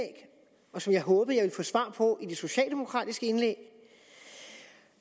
og som jeg håbede at jeg svar på i det socialdemokratiske indlæg